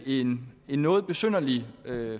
en noget besynderlig